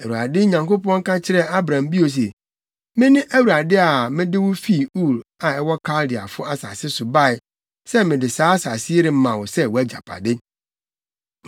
Awurade Nyankopɔn ka kyerɛɛ Abram bio se, “Mene Awurade a mede wo fi Ur a ɛwɔ Kaldeafo asase so bae sɛ mede saa asase yi rema wo sɛ wʼagyapade.”